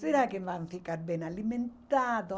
Será que vão ficar bem alimentados?